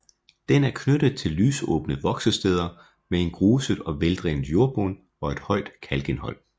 Den er knyttet til lysåbne voksesteder med en gruset og veldrænet jordbund og et højt kalkindhold